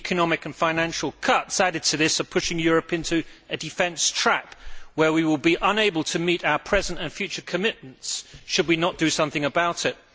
The economic and financial cuts added to this are pushing Europe into a defence trap' where we will be unable to meet our present and future commitments should we not do something about it.